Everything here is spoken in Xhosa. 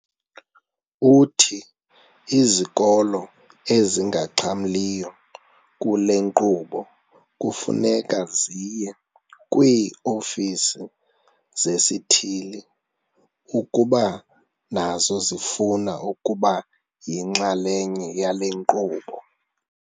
Uthi izikolo ezingaxhamliyo kule nkqubo kufuneka ziye kwii-ofisi zesithili ukuba nazo zifuna ukuba yinxalenye yale nkqubo.